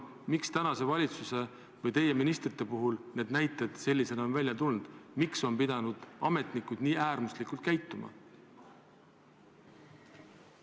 Miks tänase valitsuse või teie ministrite puhul on need näited sellisena välja tulnud, miks on ametnikud pidanud nii äärmuslikult käituma?